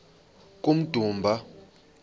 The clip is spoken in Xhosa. kummdumba